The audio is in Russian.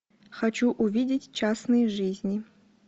хочу увидеть частные жизни